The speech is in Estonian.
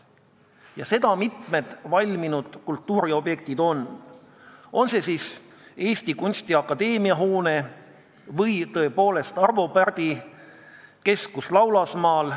Just sellised mitmed valminud kultuuriobjektid on – on see siis Eesti Kunstiakadeemia hoone või Arvo Pärdi Keskus Laulasmaal.